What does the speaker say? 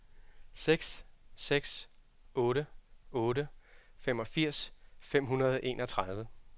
seks seks otte otte femogfirs fem hundrede og enogtredive